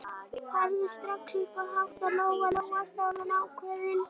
Farðu strax upp að hátta, Lóa-Lóa, sagði hún ákveðin.